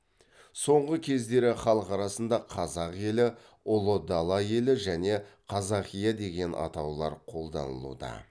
соңғы кездері халық арасында қазақ елі ұлы дала елі және қазақия деген атаулар қолданылуда